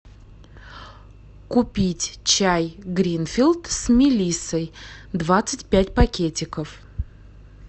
купить чай гринфилд с мелиссой двадцать пять пакетиков